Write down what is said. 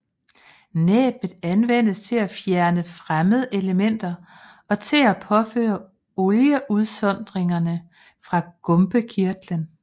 Næbbet anvendes til at fjerne fremmedelementer og til at påføre olieudsondringerne fra gumpekirtlen